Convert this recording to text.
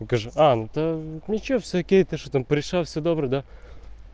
голант ничего всякие там пришла всего доброго